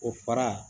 O fara